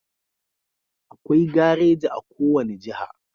Akwai gareji a ko wani jaha